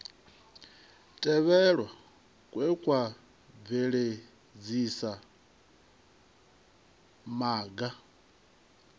tevhelwa kwe kwa bveledzisa maga